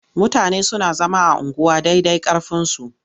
Mutane suna zama a unguwa dai dai ƙarfinsa.